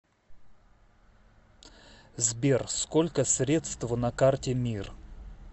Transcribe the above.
сбер сколько средств на карте мир